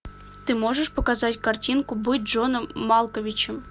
ты можешь показать картинку быть джоном малковичем